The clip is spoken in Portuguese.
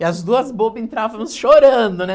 E as duas bobas entrávamos chorando, né?